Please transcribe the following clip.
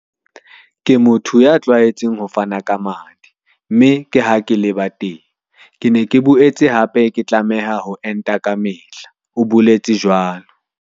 "Ke motho ya tlwaetseng ho fana ka madi, mme ke ha ke leba teng. Ke ne ke boetse hape ke tlameha ho enta kamehla," o boletse jwalo.